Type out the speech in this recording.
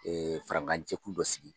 farankan jɛku dɔ sigi.